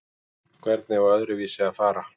Hvernig á öðruvísi að fara?